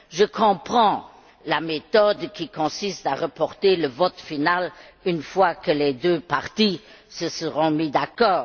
Je comprends la méthode qui consiste à reporter le vote final au moment où les deux parties se seront mises d'accord.